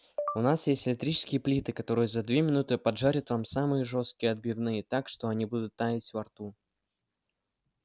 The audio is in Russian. у нас есть электрические плиты которые за две минуты поджарят вам самые жёсткие отбивные так что они будут таять во рту